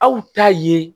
Aw ta ye